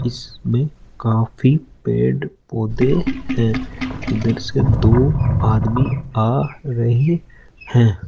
इसमें काफी पेड़ पौधे हैं इधर से दो आदमी आ रहे हैं।